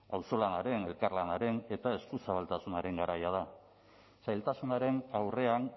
auzolanaren elkarlanaren eta eskuzabaltasunaren garaia da zailtasunaren aurrean